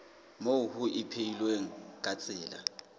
moo ho ipehilweng ka tsela